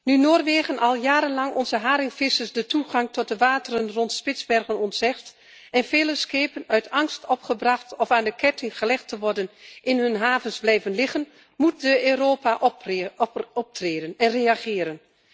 Nu Noorwegen al jarenlang onze haringvissers de toegang tot de wateren rond Spitsbergen ontzegt en vele schepen uit angst om opgebracht of aan de ketting gelegd te worden, in hun havens blijven liggen, moet Europa optreden en reageren.